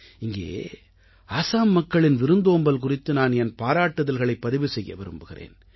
இங்கே ஆஸாம் மக்களின் விருந்தோம்பல் குறித்து நான் என் பாராட்டுதல்களைப் பதிவு செய்ய விரும்புகிறேன்